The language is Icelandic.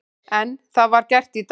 En það var gert í dag.